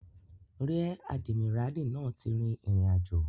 Ríẹ̀ àdìmíràlí náà ti rìn ìrìnàjò